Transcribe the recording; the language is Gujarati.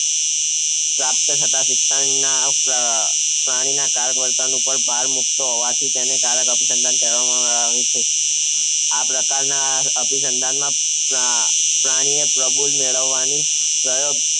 પ્રાપ્ત થતા શિક્ષામાં પ્રાણીના કારક વર્તન ઉપર ભાર મુક્તો હોવાથી તેને કારક આભિસન્ધાન કહેવામાં આવે છે. આ પ્રકાર ના અભિસંધાનમાં પ્રાણીએ પ્રબલન મેળવવાની પ્રયોગ